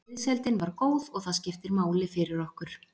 Liðsheildin var góð og það skiptir máli fyrir okkur.